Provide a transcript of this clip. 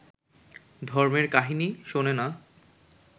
ধর্মের কাহিনী শোনে না